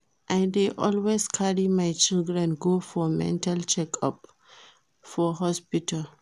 I dey always carry my children go for mental check up for hospital